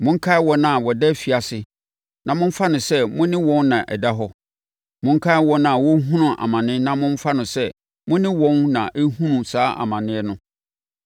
Monkae wɔn a wɔda afiase na momfa no sɛ mo ne wɔn na ɛda hɔ. Monkae wɔn a wɔrehunu amane na momfa no sɛ mo ne wɔn na ɛrehunu saa amane no.